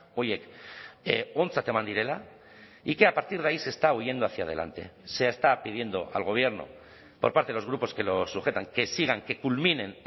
horiek ontzat eman direla y que a partir de ahí se está huyendo hacia delante se está pidiendo al gobierno por parte de los grupos que los sujetan que sigan que culminen